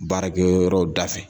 Baarake yɔrɔ da fɛ.